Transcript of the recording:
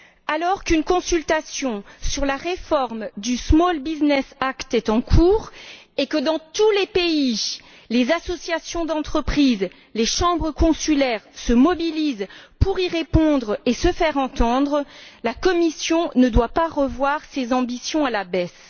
Alors qu'une consultation sur la réforme du Small Business Act est en cours et que, dans tous les pays, les associations d'entreprises, les chambres consulaires se mobilisent pour y répondre et se faire entendre, la Commission ne doit pas revoir ses ambitions à la baisse.